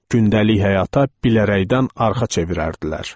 Gündəlik həyata bilərəkdən arxa çevirərdilər.